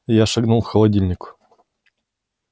я шагнул к холодильнику